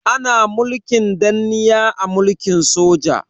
Ana mulkin danniya a mulkin soja.